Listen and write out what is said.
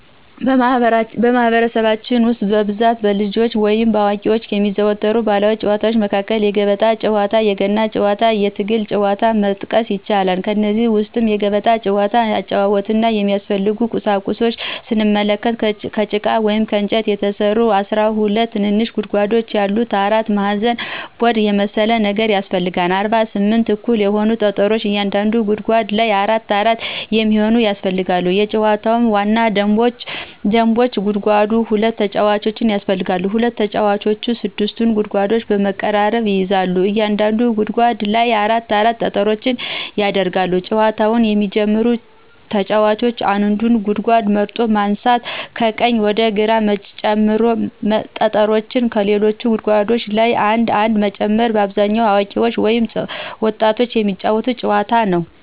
በማህበረሰባችን ውስጥ በብዛት በልጆች ወይም በአዋቂዎች ከሚዘወተሩ ባህላዊ ጨዋታዎች መካከል የገበጣ ጨዋታ፣ የገና ጨዋታና የትግል ጨዋታን መጥቀስ ይቻላል። ከእነዚህም ውስጥ የገበጣ ጨዋታን አጨዋወትና የሚያስፈልጉ ቁሳቁሶችን ስንመለከት፦ ከጭቃ ወይም ከእንጨት የተሰራ 12 ትንንሽ ጉድጓዶች ያሉት አራት ማዕዘን ቦርድ የመሰለ ነገር ያሰፈልጋል፣ 48 እኩል የሆኑ ጠጠሮች በእያንዳንዱ ጉድጓድ ላይ አራት አራት የሚሆኑ ያስፈልጋሉ የጨዋታው ዋና ደንቦች ተጓዳኝ ሁለት ተጫዋቾች ያስፈልጋሉ፣ ሁለት ተጫዋቾች 6ቱን ጉድጓድ በመቀራረብ ይይዛሉ፣ በእያንዳንዱ ጉድጓድ ላይ አራት አራት ጠጠሮች ይደረጋሉ፣ ጨዋታውን የሚጀመረው ተጫዋች አንዱን ጉድጓድ መርጦ በማንሳት ከቀኝ ወደ ግራ ጠጠሮችን ከሌሎች ጉድጓዶች ላይ አንድ አንድ መጨመር። በአብዛኛው አዋቂዎች ወይም ወጣቶች የሚጫወቱት ጨዋታ ነዉ።